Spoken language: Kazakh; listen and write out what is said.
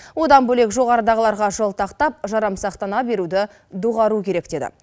одан бөлек жоғарыдағыларға жалтақтап жарамсақтана беруді доғару керек деді